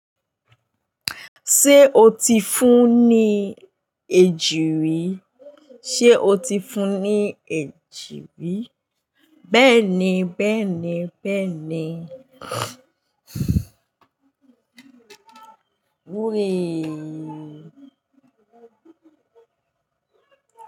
Ṣé o ti fún ní èjìrí? Ṣé o ti fún ní èjìrí? Bẹ́ẹ̀ni bẹ́ẹ̀ni bẹ́ẹ̀ni. Oreee.